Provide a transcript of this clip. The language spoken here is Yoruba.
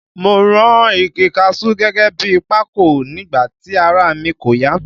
Mo run igi kaṣuú gẹ́gẹ́ bi pákò nígbà tí ara mi kò ya